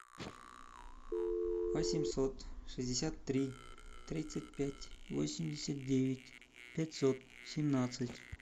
восемьсот шестьдесят три тридцать пять восемьдесят девять пятьсот семнадцать